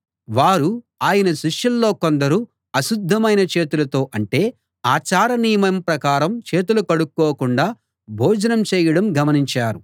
వారు ఆయన శిష్యుల్లో కొందరు అశుద్ధమైన చేతులతో అంటే ఆచార నియమం ప్రకారం చేతులు కడుక్కోకుండా భోజనం చేయడం గమనించారు